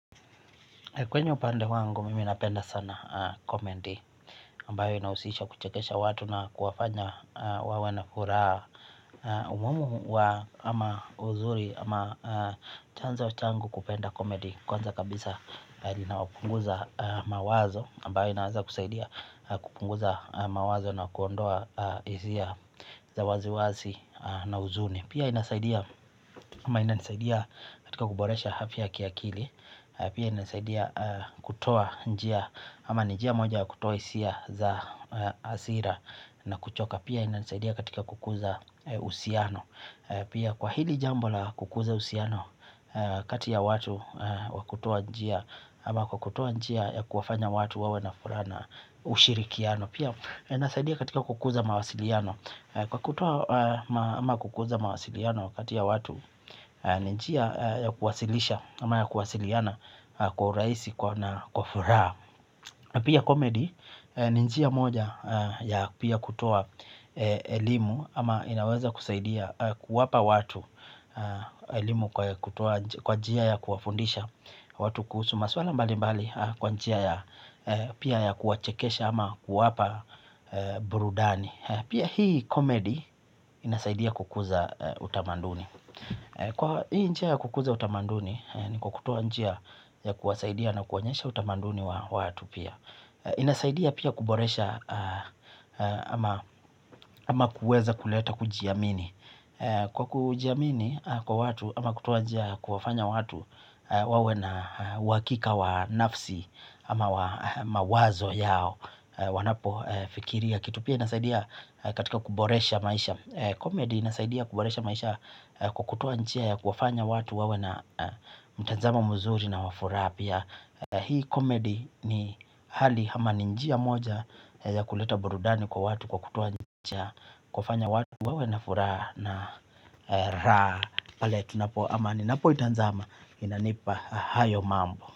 Kwenye upande wangu mimi napenda sana komedi ambayo inahusisha kuchekesha watu na kuwafanya wawe na furaha na umuhimu wa ama uzuri ama chanzo changu kupenda komedi kwanza kabisa inawapunguza mawazo ambayo inaaza kusaidia kupunguza mawazo na kuondoa izia za waziwazi na huzuni pia inasaidia ama inasaidia katika kuboresha hafya ya kiakili. Pia inasaidia kutoa njia ama njia moja ya kutoa hisia za hasira na kuchoka. Pia inasaidia katika kukuza uhusiano. Pia kwa hili jambo la kukuza yhusiano kati ya watu wa kutoa njia ama kwa kutoa njia ya kuwafanya watu wawe na furaha na ushirikiano. Pia inasaidia katika kukuza mawasiliano. Kwa kutoa ama kukuza mawasiliano kati ya watu ni njia ya kuwasilisha ama ya kuwasiliana kwa urahisi na kwa furaha. Pia komedi ni njia moja ya pia kutoa elimu ama inaweza kusaidia kwa kuwapa watu elimu kwa kutoa kwa njia ya kuwafundisha watu kuhusu maswala mbalimbali kwa njia ya pia ya kuwachekesha ama kuwapa burudani. Pia hii komedi inasaidia kukuza utamanduni. Kwa hii nchi ya kukuza utamaduni ni kwa kutoa njia ya kuwasaidia na kuwaonyesha utamanduni wa watu pia. Inasaidia pia kuboresha ama kuweza kuleta kujiamini. Kwa kujiamini kwa watu ama kutoa njia ya kufanya watu wawe na uhakika wa nafsi ama mawazo yao wanapofikiria kitu pia inasaidia katika kuboresha maisha Comedy inasaidia kuboresha maisha kukutoa njia ya kufanya watu wawe na mtanzamo mzuri na wa furaha pia. Hii comedy ni hali hama ni njia moja ya kuleta burudani kwa watu kwa kutoa njia kufanya watu wawe na furaha na kale tunapo amani na po itanzama inanipa hayo mambo.